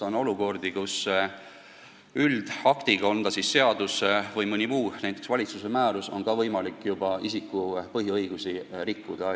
On olukordi, kus üldaktiga, on see siis seadus või mõni muu õigustloov akt, näiteks valitsuse määrus, on ka võimalik juba isiku põhiõigusi rikkuda.